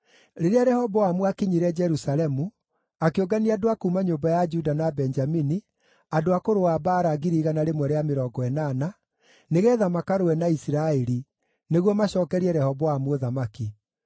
Rĩrĩa Rehoboamu aakinyire Jerusalemu, akĩũngania andũ a kuuma nyũmba ya Juda na Benjamini, andũ a kũrũa mbaara 180,000, nĩgeetha makarũe na Isiraeli, nĩguo macookerie Rehoboamu ũthamaki.